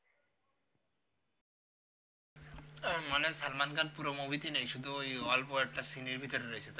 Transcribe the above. মানে salman khan পুরো movie তে নেই শুধু ওই অল্প একটা scene এর ভিতরে রয়েছে তাই তো